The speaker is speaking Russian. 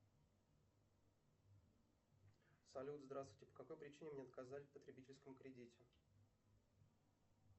салют здравствуйте по какой причине мне отказали в потребительском кредите